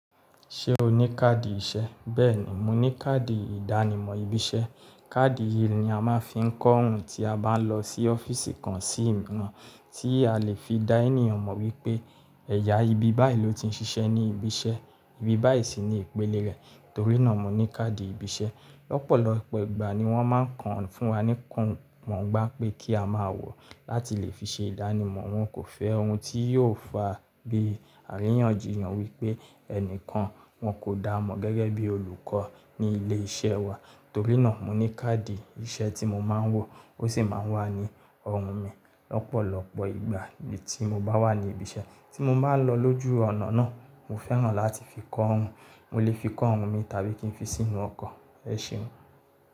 Ṣé o ní káàdì iṣẹ́? Bẹ́ẹ̀ni, mo ní káàdì ìdánimọ̀ ibi iṣẹ́. Káàdì yìí ni a máa ń fi ń kọ́'orun tí a bá ń lọ sí ọ́fíìsì kan sí ìna, tí a lè fi dá ènìyàn mọ̀ wípé ẹ̀yà ibi báyìí ló ti ń ṣiṣẹ́ ní ibi iṣẹ́, ibi báyìí sì ni ìpele rẹ̀. Torí náà mo ní káàdì ibi iṣẹ́. Lọ́pọ̀lọpọ̀ ìgbà ni wọ́n máa ń kàn án fún wa ní kàn mọ̀ ọ́n gbá pé kí a máa wọ̀ ọ́ láti lè fi ṣe ìdánimọ̀. Wọn kò fẹ́ ohun tí yóò fa bí àríyànjiyàn wípé ẹnìkan wọn kò dá mọ̀ gẹ́gẹ́ bí olùkọ́ ní ilé iṣẹ́ wa. Torí náà mo ní káàdì iṣẹ́ tí mo máa ń wọ, ó sì máa ń wà ní ọrùn mi lọ́pọ̀lọpọ̀ ìgbà bí tí mo bá wà ní ibi iṣẹ́, tí mo bá lọ lójú ọ̀nà náà. Mo fẹ́ràn láti fi kọ́ orun, mo lè fi kọ́ orun mi tàbí kí n fi sínú ọkọ̀. Ẹ ṣéun.